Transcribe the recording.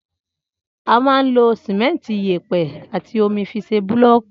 Ama ń lo Símẹńti, ìyépẹ àtí òmí fi sẹ búlọkì.